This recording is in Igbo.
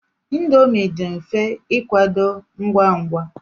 Indomi dị mfe ịkwadebe ngwa ngwa.